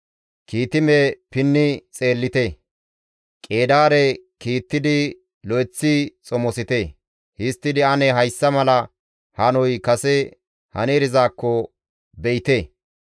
Kiitime pinni xeellite; Qeedaare kiittidi lo7eththi xomosite; Histtidi ane hayssa mala hanoy kase hani erizaakko be7ite.